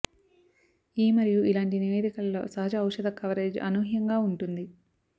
ఈ మరియు ఇలాంటి నివేదికలలో సహజ ఔషధ కవరేజ్ అనూహ్యంగా ఉంటుంది